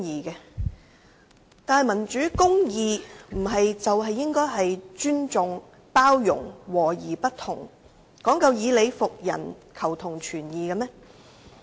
然而，民主公義不是講求尊重、包容、和而不同、以理服人和求同存異嗎？